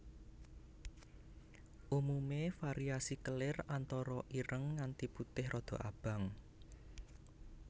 Umume variasi kelir antara ireng nganti putih rada abang